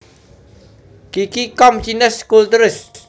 Qiqi com Chinese Cultures